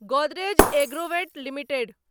Godrej Agrovet limited